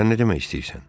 Sən nə demək istəyirsən?